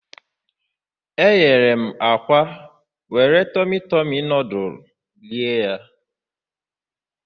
eghere m akwa were tọmị tọmị nọdụlụ rie ya.